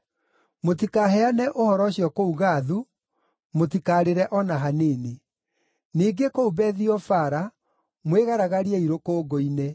Mũtikaheane ũhoro ũcio kũu Gathu, mũtikarĩre o na hanini. Ningĩ kũu Bethi-Ofara mwĩgaragariei rũkũngũ‑inĩ.